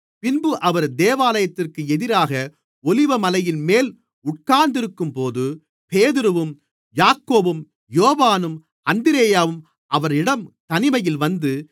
பின்பு அவர் தேவாலயத்திற்கு எதிராக ஒலிவமலையின்மேல் உட்கார்ந்திருக்கும்போது பேதுருவும் யாக்கோபும் யோவானும் அந்திரேயாவும் அவரிடம் தனிமையில் வந்து